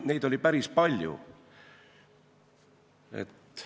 Neid oli päris palju, nii et ...